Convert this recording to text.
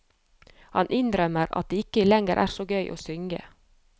Han innrømmer at det ikke lenger er så gøy å synge.